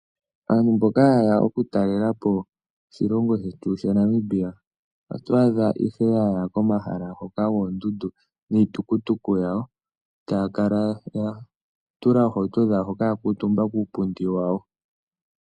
Aantu mboka ha yeya oku talelapo oshilongo shetu sha Namibia. Oto adha ihe yaya komahala ngoka goondundu niitukutuku yawo. Etaya kala ya tula oohauto dhawo hoka ya kuutumba kuupundi wayo.